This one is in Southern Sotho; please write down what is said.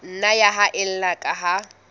nna ya haella ka ha